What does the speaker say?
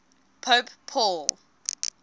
pope paul